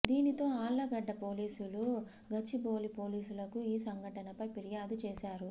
దీనితో ఆళ్లగడ్డ పోలీసులు గచ్చిబౌలి పోలీసులకి ఈ సంఘటనపై ఫిర్యాదు చేశారు